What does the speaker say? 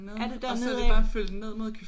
Er det dernede af?